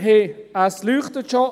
– Es leuchtet schon.